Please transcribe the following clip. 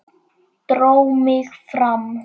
Dró mig fram.